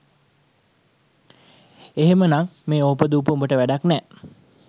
එහෙම නං මේඕපදූප උඹට වැඩක් නෑ